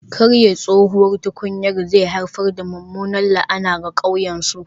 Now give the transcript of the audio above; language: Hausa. Karye tsohuwar tukunyar zai haifar da mummunar la'ana ga ƙauyen su